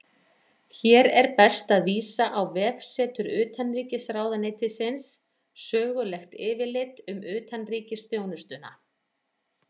Hér er best að vísa á vefsetur Utanríkisráðuneytisins Sögulegt yfirlit um utanríkisþjónustuna.